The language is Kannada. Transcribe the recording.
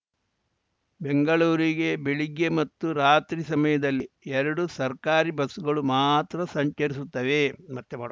ಬೆಂಗಳೂರಿಗೆ ಬೆಳಿಗ್ಗೆ ಮತ್ತು ರಾತ್ರಿ ಸಮಯದಲ್ಲಿ ಎರಡು ಸರ್ಕಾರಿ ಬಸ್‌ಗಳು ಮಾತ್ರ ಸಂಚರಿಸುತ್ತವೆ